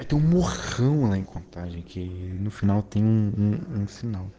поэтому хрумкай купальники и начинал кеннинг сигнал